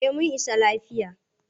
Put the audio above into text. Eh mun isa lafiya.